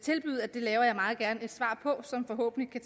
det laver jeg meget gerne et svar på som forhåbentlig